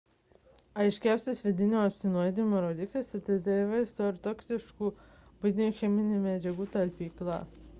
aiškiausias vidinio apsinuodijimo rodiklis – atidaryta vaistų ar toksiškų buitinių cheminių medžiagų talpykla